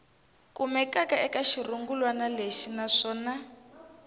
kumekaka eka xirungulwana lexi naswona